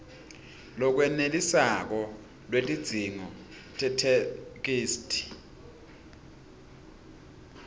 lolwenetisako lwetidzingo tetheksthi